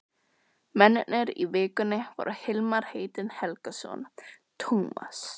Mennirnir í Vikunni voru Hilmar heitinn Helgason, Tómas